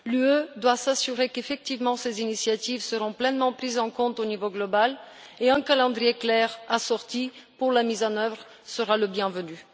L'UE doit s'assurer qu'effectivement ces initiatives seront pleinement prises en compte au niveau global et un calendrier clair assorti pour la mise en œuvre sera le bienvenu.